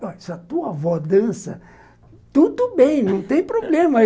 Se a tua avó dança, tudo bem não tem problema.